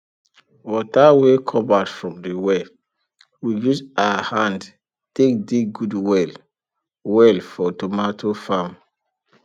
water wey come out from the well we use our hand take dig good well well for tomato farm